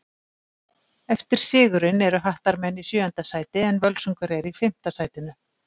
Eftir sigurinn eru Hattarmenn í sjöunda sæti en Völsungur er í fimmta sætinu.